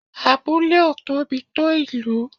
Abúlé ò tóbi tó Ìlú